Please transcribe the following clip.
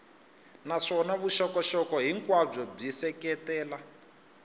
naswona vuxokoxoko hinkwabyo byi seketela